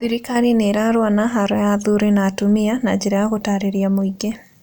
Thirikari nĩĩrarũa na haro ya athuri na atumia na njĩra ya gũtaarĩria mũingĩ